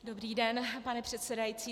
Dobrý den, pane předsedající.